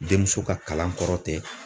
Denmuso ka kalan kɔrɔ tɛ.